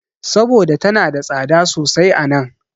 Saboda tana da tsada sosai a nan.